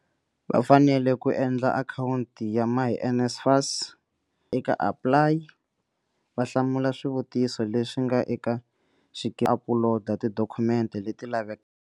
Va fanele ku endla akhawunti ya myNSFAS, eka APPLY, va hlamula swivutiso leswi nga va apuloda tidokhumente leti lavekaka.